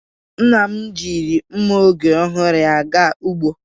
Nna m jiri nma oge ọhụrụ ya ga ugbo.